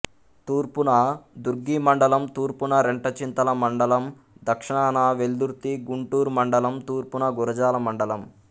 తూర్పున దుర్గి మండలం తూర్పున రెంటచింతల మండలం దక్షణాన వెల్దుర్తిగుంటూరు మండలం తూర్పున గురజాల మండలం